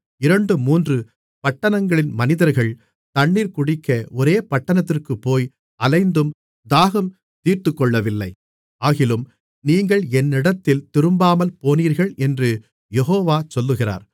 இரண்டு மூன்று பட்டணங்களின் மனிதர்கள் தண்ணீர் குடிக்க ஒரே பட்டணத்திற்குப் போய் அலைந்தும் தாகம் தீர்த்துக்கொள்ளவில்லை ஆகிலும் நீங்கள் என்னிடத்தில் திரும்பாமல்போனீர்கள் என்று யெகோவா சொல்லுகிறார்